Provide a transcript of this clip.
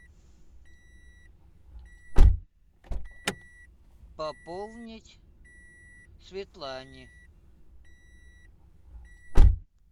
пополнить светлане